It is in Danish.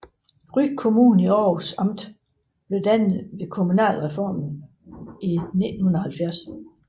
Ry Kommune i Århus Amt blev dannet ved kommunalreformen i 1970